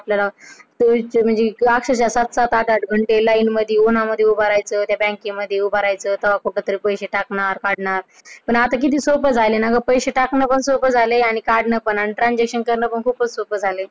आपल्याला म्हणजे classes असतात, सात आठ घंटे Line मध्ये, उन्हं मध्ये उभं राहायच त्या बँके मध्ये उभं राहायचं तेव्हा कुठं तरी पैसे टाकणार, काढणार पण आता किती सोपं झालाय ना ग पैसे टाकणं पण सोप झालंय आणि काढणं पण transaction करणं पण सोपं झालाय.